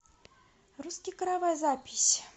русский каравай запись